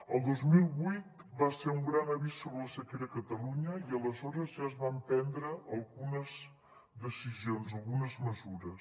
el dos mil vuit va ser un gran avís sobre la sequera a catalunya i aleshores ja es van prendre algunes decisions algunes mesures